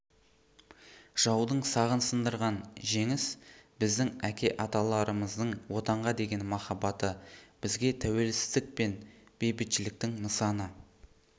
жаудың сағын сындырған жеңіс біздің әке аталарымыздың отанға деген махаббаты бізге тәуелсіздік пен бейбітшіліктің нысаны